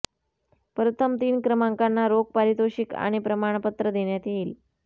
प्रथम तीन क्रमाकांना रोख पारितोषिक आणि प्रमाणपत्र देण्यात येईल